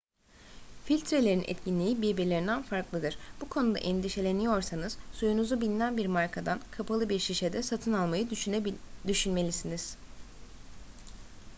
filtrelerin etkinliği birbirlerinden farklıdır bu konuda endişeleniyorsanız suyunuzu bilinen bir markadan kapalı bir şişede satın almayı düşünmelisiniz